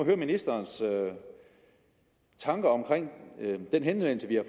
høre ministerens tanker om den henvendelse vi har